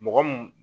Mɔgɔ mun